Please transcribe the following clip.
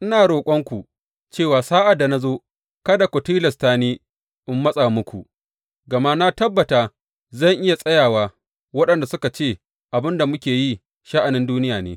Ina roƙonku cewa sa’ad da na zo kada ku tilasta ni in matsa muku, gama na tabbata zan iya tsaya wa waɗanda suka ce abin da muke yi sha’anin duniya ne.